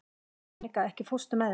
Jannika, ekki fórstu með þeim?